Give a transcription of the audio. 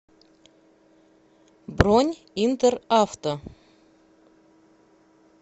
бронь интер авто